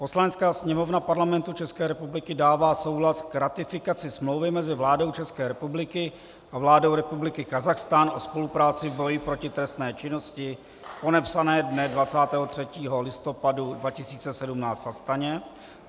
Poslanecká sněmovna Parlamentu České republiky dává souhlas k ratifikaci Smlouvy mezi vládou České republiky a vládou republiky Kazachstán o spolupráci v boji proti trestné činnosti, podepsané dne 23. listopadu 2017 v Astaně;